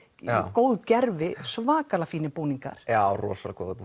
góð gervi svakalega fínir búningar já rosalega góðir